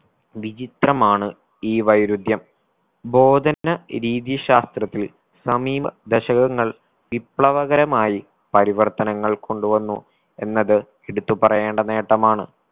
വിചിത്രമാണ് ഈ വൈരുധ്യം ബോധന രീതീ ശാസ്ത്രത്തിൽ സമീപ ദശകങ്ങൾ വിപ്ലവകരമായി പരിവർത്തനങ്ങൾ കൊണ്ടു വന്നു എന്നത് എടുത്തു പറയേണ്ട നേട്ടമാണ്